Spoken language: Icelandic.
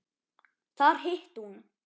Þar hitti hún